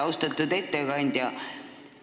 Austatud ettekandja!